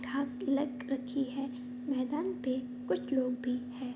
घास की रखी है मैदान पे कुछ लोग भी हैं।